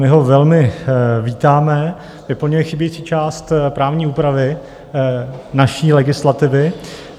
My ho velmi vítáme, vyplňuje chybějící část právní úpravy naší legislativy.